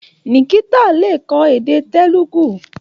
Nikita le kọ́ èdè Telugu.